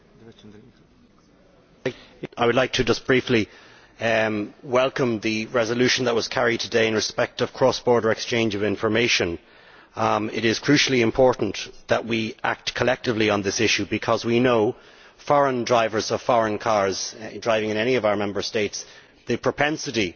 Mr President, I would like briefly to welcome the resolution that was carried today in respect of the cross border exchange of information. It is crucially important that we act collectively on this issue because we know that when foreign drivers of foreign cars are driving in any of our Member States the propensity